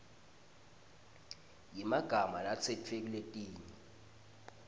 yemagama latsetfwe kuletinye